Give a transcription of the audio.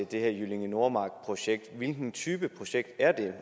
det her jyllinge nordmark projekt hvilken type projekt er det